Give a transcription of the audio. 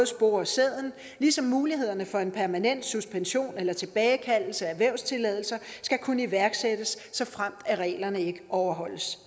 spore sæden ligesom mulighederne for en permanent suspension eller tilbagekaldelse af vævstilladelser skal kunne iværksættes såfremt reglerne ikke overholdes